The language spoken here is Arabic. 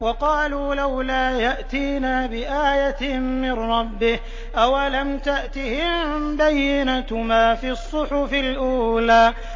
وَقَالُوا لَوْلَا يَأْتِينَا بِآيَةٍ مِّن رَّبِّهِ ۚ أَوَلَمْ تَأْتِهِم بَيِّنَةُ مَا فِي الصُّحُفِ الْأُولَىٰ